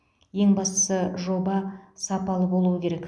ең бастысы жоба сапалы болуы керек